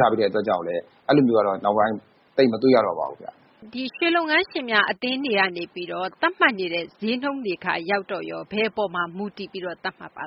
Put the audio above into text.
ထားတဲ့ အတွက်ကြောင့် မို့လို့လည်း အဲလိုမျိုး ကတော့ နောက်ပိုင်း သိပ်မတွေ့ရတော့ပါဘူး။ ဒီ ရွှေလုပ်ငန်းငန်း ရှင်များ အသင်းတွေကနေ သတ်မှတ်နေတဲ့ ဈေးနှုန်းတွေ ကရော ဘယ်အပေါ်မှာ မူတည်ပြီး သတ်မှတ်ပါ